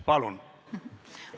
Palun!